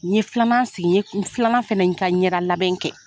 N yen filanan sigi, n ye filanan fana ka ɲɛda labɛn kɛ.